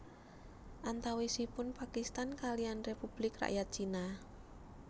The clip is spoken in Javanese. Antawisipun Pakistan kaliyan Republik Rakyat Cina